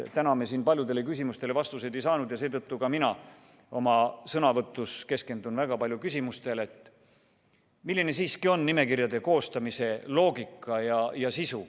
Täna me siin paljudele küsimustele vastuseid ei saanud ja seetõttu ka mina oma sõnavõtus keskendun väga palju küsimustele, milline siiski on nimekirjade koostamise loogika.